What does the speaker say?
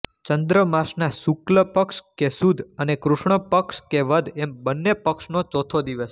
ચંદ્રમાસના શુકલ પક્ષ કે સુદ અને કૃષ્ણ પક્ષ કે વદ એમ બંન્ને પક્ષનો ચોથો દિવસ